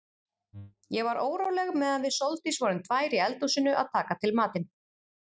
Ég var óróleg meðan við Sóldís vorum tvær í eldhúsinu að taka til matinn.